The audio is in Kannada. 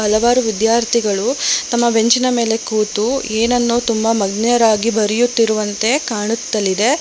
ಹಲವಾರು ವಿದ್ಯಾರ್ಥಿಗಳು ತಮ್ಮ ಬೆಂಚಿನ ಮೇಲೆ ಕೂತು ಏನನ್ನು ತುಂಬಾ ಮಜ್ಞರಾಗಿ ಬರೆಯುತ್ತಿರುವಂತೆ ಕಾಣುತ್ತಲಿದೆ.